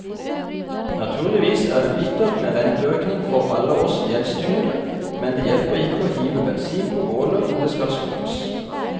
Naturligvis er det bittert med renteøkning for alle oss gjeldstyngede, men det hjelper ikke å hive bensin på bålet om det skal slukkes.